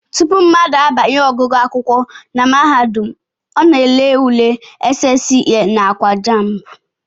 Tupu mmadụ abanye ọgụgụ akwụkwọ na mahadum, ọ na-ele ule SSCE nakwa JAMB